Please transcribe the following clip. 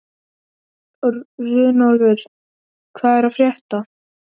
Runólfur, hvað er að frétta?